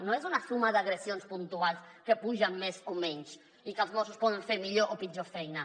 no és una suma d’agressions puntuals que pugen més o menys i que els mossos poden fer millor o pitjor feina